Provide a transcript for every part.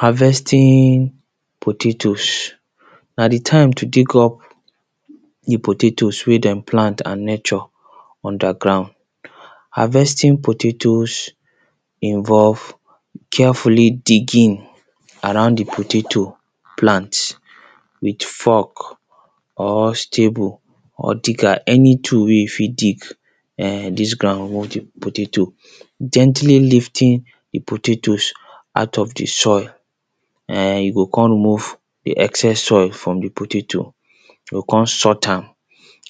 Harvesting potatoes, na di time to take up di potatoes wey dem plant and nurture underground, harvesting potatoes involve carefully digging around di potato plant with fork or stable or digger any tool wey you fit dig dis ground [2] gently lifting di potatoes out of di soil you go kon remove di excess soil from di potato, you go kon sought am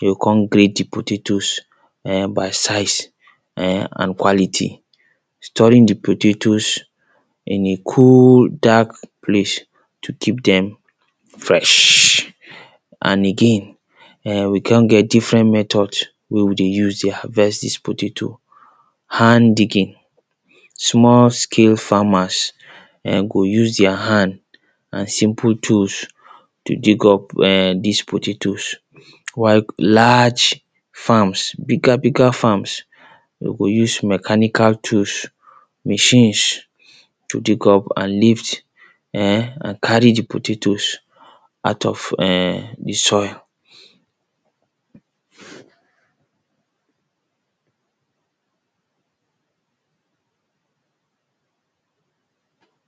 you go kon grade di potatoes by side and quality, storing di potatoes in a cool dark place to keep dem fresh and again we kon get different method wey we dey use dey harvest dis potato. hand digging, small scale farmers go use dia hand and simple tools to dig up dis potatoes, while large farms bigger farms dey go use mechanical tools, machines to dig up and lift and carry di potatoes out of di soil.